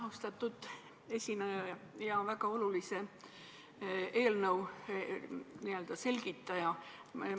Austatud esineja ja väga olulise eelnõu selgitaja!